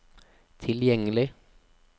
tilgjengelig